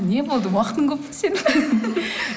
не болды уақытың көп пе сенің